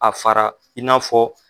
A fara i n'a fɔ